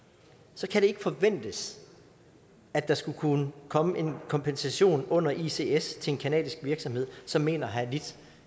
så kan det ikke forventes at der skulle kunne komme en kompensation under ics ics til en canadisk virksomhed som mener at have lidt